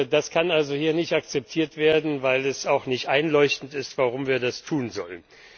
Das kann also hier nicht akzeptiert werden, weil es auch nicht einleuchtend ist, warum wir das tun sollen.